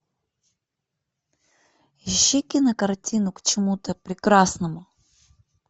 ищи кинокартину к чему то прекрасному